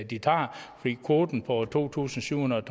de tager fordi kvoten på to tusind syv hundrede